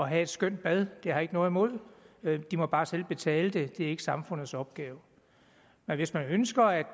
have et skønt bad det har jeg ikke noget imod men de må bare selv betale det det er ikke samfundets opgave men hvis man ønsker at